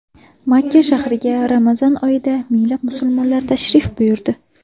Makka shahriga Ramazon oyida minglab musulmonlar tashrif buyurdi .